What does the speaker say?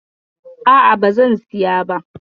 A'a ba zan siya ba.